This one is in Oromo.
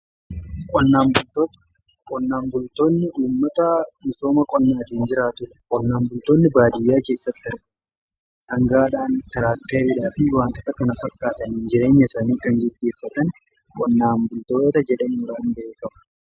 Qonnaan bultoonni namoota misooma qonnaatiin jiraa ture qonnaan bultoonni baadiyyaa keessatti dangaadhaan, taraakkaridhaa fi wantoota kana fakkaatani jireenya isaanii gaggeeffatan qonnaan bultootota jedhamun beekkamu.